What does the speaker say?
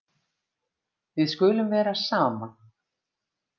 Við skulum vera saman.